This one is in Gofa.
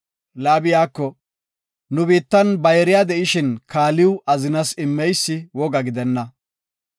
Laabi iyako, “Nu biittan bayriya de7ishin kaaliw azinas immeysi woga gidenna.